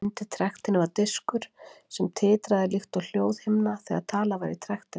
Undir trektinni var diskur sem titraði líkt og hljóðhimna þegar talað var í trektina.